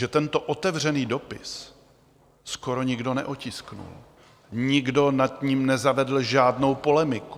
Že tento otevřený dopis skoro nikdo neotiskl, nikdo nad ním nezavedl žádnou polemiku.